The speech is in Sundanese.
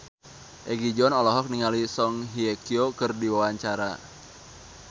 Egi John olohok ningali Song Hye Kyo keur diwawancara